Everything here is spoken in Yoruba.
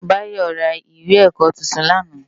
Bayo rá iwé èkò tútún làná